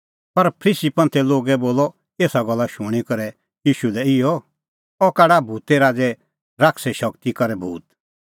पर फरीसी बोलअ एसा गल्ला शूणीं करै ईशू लै इहअ अह काढा भूते राज़ै शैताने शगती करै भूत